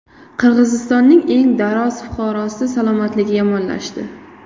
Qirg‘izistonning eng daroz fuqarosi salomatligi yomonlashdi.